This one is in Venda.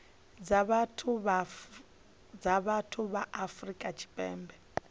dza vhathu ya afrika tshipembe